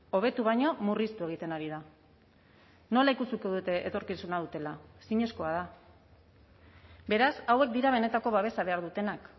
hobetu baino murriztu egiten ari da nola ikusiko dute etorkizuna dutela ezinezkoa da beraz hauek dira benetako babesa behar dutenak